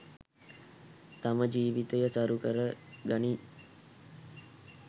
තම ජීවිතය සරු කරගනියි